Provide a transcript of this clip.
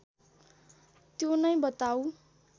त्यो नै बताऊँ